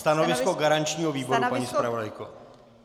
Stanovisko garančního výboru, paní zpravodajko.